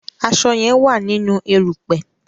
aṣọ yen wá nínú erùpẹ̀.